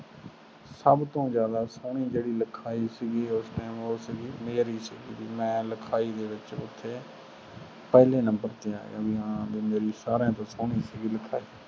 ਸਬਤੋ ਜਾਂਦਾ ਜਿਹੜੀ ਸੋਹਣੀ ਲਿਖਾਈ ਸੀ ਉਹ ਸੀ ਮੇਰੀ ਸੀ ਮੈਂ ਲਿਖਾਈ ਦੇ ਵਿਚ ਪਹਿਲੇ ਨੰਬਰ ਤੇ ਆਯਾ ਵੀ ਹੈ ਮੇਰੀ ਸਾਰਿਆਂ ਤੋਂ ਸੋਹਣੀ ਸੀਗੀ ਲਿਖਾਈ